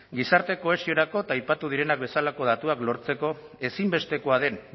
gizarte kohesiorako eta aipatu direnak bezalako datuak lortzeko ezinbestekoa den